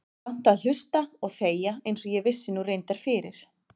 Kannt að hlusta og þegja einsog ég vissi nú reyndar fyrir.